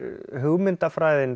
hugmyndafræðin